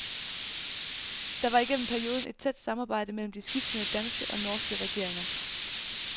Der var igennem perioden et tæt samarbejde mellem de skiftende danske og norske regeringer.